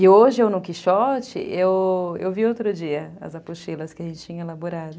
E hoje, eu no Quixote, eu vi outro dia as apostilas que a gente tinha elaborado.